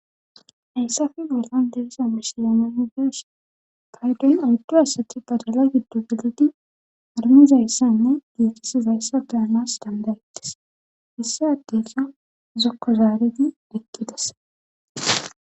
Heyssafe bollan deriza mishilamedios paydoyn uddu asati badala giddu gelidi armizayssanne diixis zayssa deyanas dandayetes issa addesa zokko zaaredi ekkides